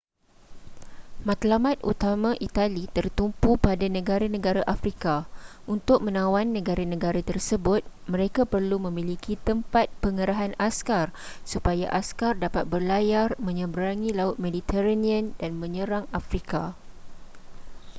matlamat utama itali tertumpu pada negara-negara afrika untuk menawan negara-negara tersebut mereka perlu memiliki tempat pengerahan askar supaya askar dapat berlayar menyeberangi laut mediterranean dan menyerang afrika